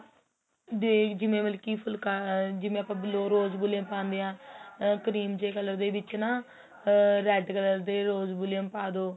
ਦੇਖ ਜਿਵੇਂ ਮਤਲਬ ਜਿਵੇਂ ਆਪਾ blow ਰੋਜ bellum ਪਾਦੇ ਹਾਂ ਆਹ ਕਰੀਮ ਦੇ color ਵਿੱਚ ਨਾ ਅਹ red color ਦੇ ਰੋਜ Valium ਪਾਦੋ